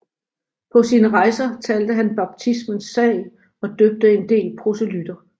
På sine rejser talte han baptismens sag og døbte en del proselytter